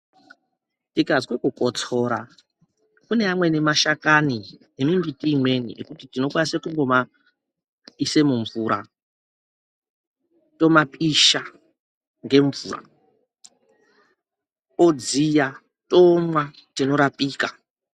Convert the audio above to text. Tikaze kukotsora kune amweni mashakani emimbiti imweni ekuti tinokwanise kungomaise mumvura, tomapisha ngemvura odziya tomwa tinorapika.